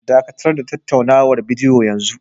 Dakatar da tattaunawar bidiyo yanzu!